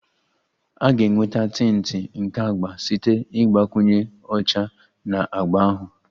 A ga-enweta tinti nke agba site na ịgbakwunye ọcha na agba ahụ